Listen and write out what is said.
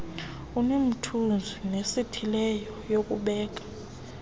enomthunzi nesithileyo yokubeka